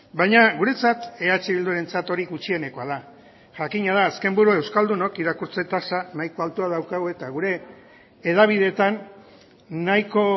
baina guretzat eh bildurentzat hori gutxienekoa da jakina da azken buru euskaldunen irakurtze tasa nahiko altua daukagu eta gure hedabideetan nahiko